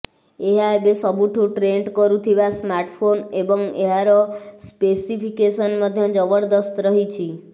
ଏହା ଏବେ ସବୁଠୁ ଟ୍ରେଣ୍ଡ କରୁଥିବା ସ୍ମାର୍ଟଫୋନ୍ ଏବଂ ଏହାର ସ୍ପେସିଫିକେସନ୍ ମଧ୍ୟ ଜବରଦସ୍ତ ରହିଛି